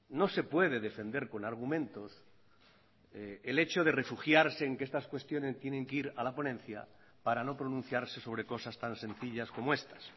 no se puede defender con argumentos el hecho de refugiarse en que estas cuestiones tienen que ir a la ponencia para no pronunciarse sobre cosas tan sencillas como estas